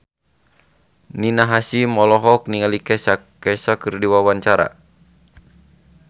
Rina Hasyim olohok ningali Kesha keur diwawancara